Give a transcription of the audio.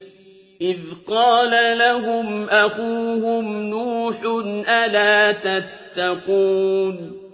إِذْ قَالَ لَهُمْ أَخُوهُمْ نُوحٌ أَلَا تَتَّقُونَ